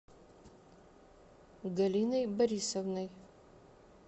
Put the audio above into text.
галиной борисовной